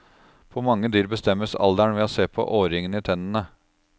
På mange dyr bestemmes alderen ved å se på årringene i tennene.